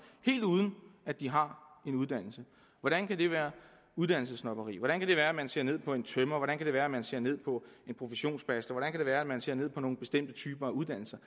helt uden at de har en uddannelse hvordan kan det være uddannelsessnobberi hvordan kan det være at man ser ned på en tømrer hvordan kan det være at man ser ned på en professionsbachelor hvordan kan det være at man ser ned på nogle bestemte typer af uddannelser